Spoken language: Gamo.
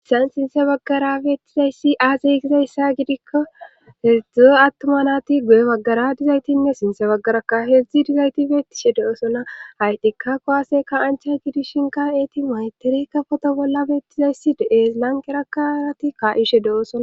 Haysan sinthe baggara beettizayssi aazey gizayssa gidikko hedzdzu attuma nati guye baggara dizaytinne sinthe baggaraka heedzdzi dizayti beettishe de7oosona haytika kowaaseka ancha gidishinka eeti maytiri kafoto bolla beettizayssi deees lanqerakarati kaa7ishe de7oosona